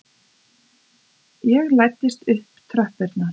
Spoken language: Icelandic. Ég læddist upp tröppurnar.